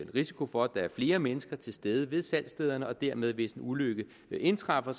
risiko for at der er flere mennesker til stede ved salgsstederne og dermed hvis en ulykke indtræffer